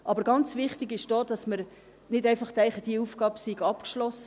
Es ist aber auch sehr wichtig, dass wir nicht einfach denken, diese Aufgabe sei abgeschlossen.